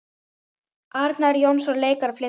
Arnar Jónsson leikari flytur texta.